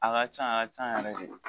A ka can a ka ca yɛrɛ de